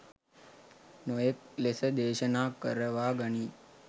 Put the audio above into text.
නොයෙක් ලෙස දේශනා කරවා ගනී.